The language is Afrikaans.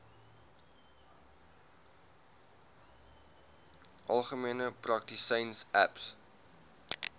algemene praktisyns aps